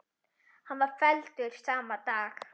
Hann var felldur sama dag.